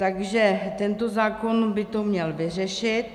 Takže tento zákon by to měl vyřešit.